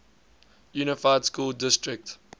unified school district